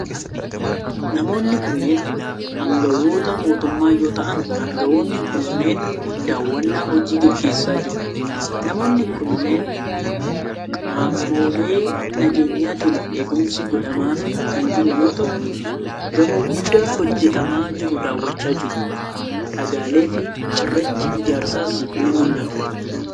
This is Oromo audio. Namoonni kunneen, aangawoota mootummaa yoo ta'an ,aangawoonni kunneen daawwannaa hojii gaggeessaa jiru. Namoonni kunneen ,qaamolee nageenyaatin eegumsi godhamaafi kan jiru yoo ta'u, gamoo guddaa hojjatamaa jiru daawwachaa jiru. Dhagaalee fi cirrachi ijaarsaas ni mul'atu.